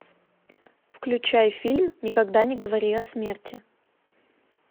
включай фильм никогда не говори о смерти